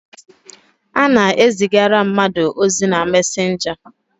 A na-ezigara mmadụ ozi na messenger.